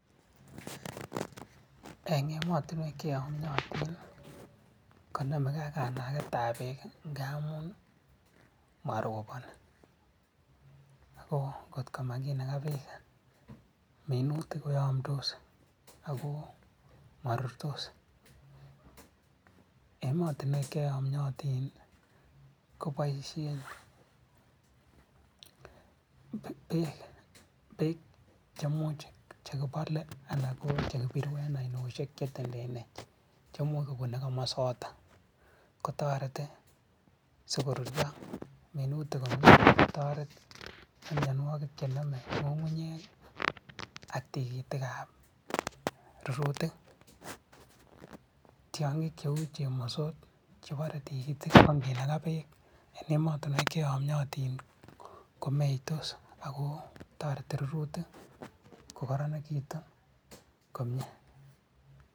eng emotinwek che yamiotin, ko nyoluge kanagetab beek ngamun maroboni. Aku ngotko makinaga beek minutik ko yamdos aku marurtos. Eng emotinwek che yamiotin, ko boisien beek che much che kibole anan ko che kibiru eng oiniosiek che tembene che much kobunu komosoto. Ko torete si korurio minutik komie. Kotoret myanwek che nome ng'ungunyek ak tikitikab rurutik. Tiong'ik cheu chemosot che bore tikitik ake naka beek eng emotinwokik che yamyaten komeitos aku toreti rorutik ko kararanikitu komie.